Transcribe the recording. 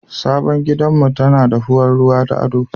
Sabon gidanmu tana da faɗuwar ruwa na ado